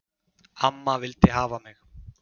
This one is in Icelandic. Amma vildi hafa mig.